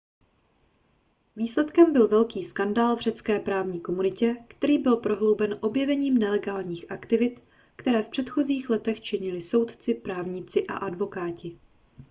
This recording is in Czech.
výsledkem byl velký skandál v řecké právní komunitě který byl prohlouben objevením nelegálních aktivit které v předchozích letech činili soudci právníci a advokáti